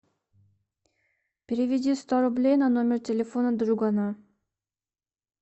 переведи сто рублей на номер телефона другана